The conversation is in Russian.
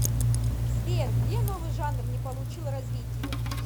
сбер где новый жанр не получил развития